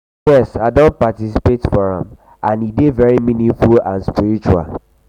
yes i don participate for am and e dey very meaningful and spiritual.